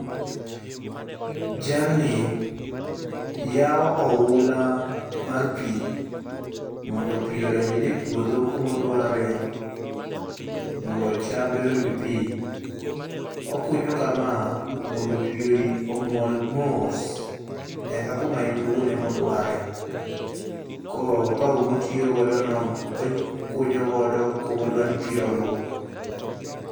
Jalni yao oula mar pii mondo pii odonjne e puodho kuma odware mondo chambe oyud pii . Okunyo kama mondo pii omol mos nyaka kuma en owuon ema odware. Ko opao motiyo godo no ,okunyo godo kuma odwani pii oluu